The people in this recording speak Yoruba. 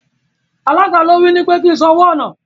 Alága ló ní wí pé kí n san owó ọ̀nà.